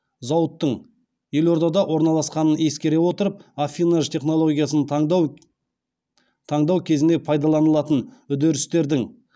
зауыттың елордада орналасқанын ескере отырып аффинаж технологиясын таңдау кезінде пайдаланылатын үдерістердің